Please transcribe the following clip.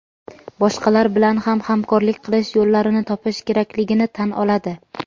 boshqalar bilan ham hamkorlik qilish yo‘llarini topish kerakligini tan oladi.